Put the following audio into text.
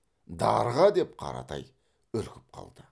дарға деп қаратай үркіп қалды